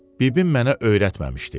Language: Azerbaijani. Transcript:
Bibim mənə öyrətməmişdi.